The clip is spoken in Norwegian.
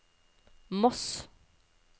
Moss